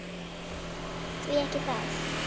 Því ekki það?